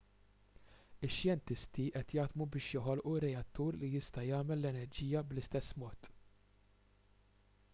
ix-xjentisti qed jaħdmu biex joħolqu reattur li jista' jagħmel l-enerġija bl-istess mod